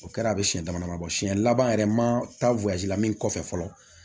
O kɛra a bɛ siɲɛ dama dama bɔ siɲɛ laban yɛrɛ ma taa la min kɔfɛ fɔlɔ